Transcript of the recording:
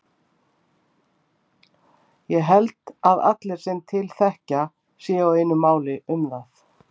Ég held að allir sem til þekkja séu á einu máli um það.